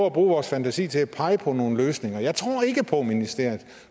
at bruge vores fantasi til at pege på nogle løsninger jeg tror ikke på at ministeriet